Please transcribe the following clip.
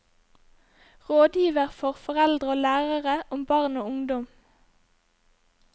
Rådgiver for foreldre og lærere om barn og ungdom.